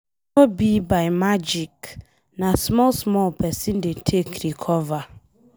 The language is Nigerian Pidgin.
No be by magic na small small pesin dey take recover.